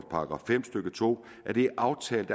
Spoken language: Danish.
§ fem stykke to er det aftalt